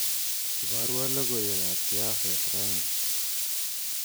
Iborwa logoiwekab siaset raini